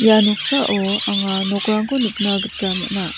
ia noksao anga nokrangko nikna gita man·a.